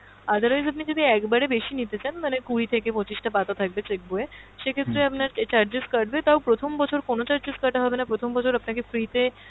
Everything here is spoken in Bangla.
otherwise আপনি যদি একবারের বেশি নিতে চান মানে কুড়ি থেকে পঁচিশটা পাতা থাকবে cheque বই এ, সেক্ষেত্রে আপনার charges কাটবে তাও প্রথম বছর কোনো charges কাটা হবেনা প্রথম বছর আপনাকে free তে,